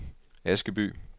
Askeby